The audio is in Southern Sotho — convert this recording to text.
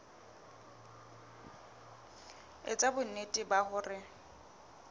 e etsa bonnete ba hore